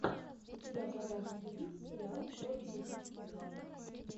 у тебя в загашнике есть сериал профиль убийцы два